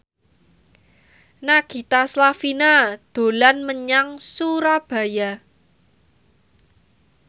Nagita Slavina dolan menyang Surabaya